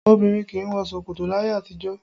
Obìnrin kì í wọ ṣòkòtò láyé àtijọ́